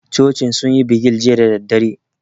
Cocin sun yi bigil jiya da daddare